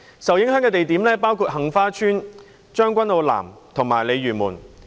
受影響的地點包括杏花邨、將軍澳南及鯉魚門。